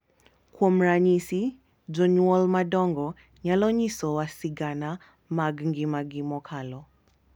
Kuom ranyisi, jonyuol madongo nyalo nyisowa sigana mag ngimagi mokalo,